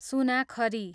सुनाखरी